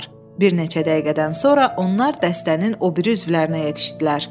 Bir neçə dəqiqədən sonra onlar dəstənin o biri üzvlərinə yetişdilər.